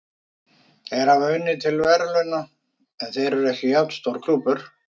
Þeir hafa unnið til verðlauna, en þeir eru ekki jafn stór klúbbur.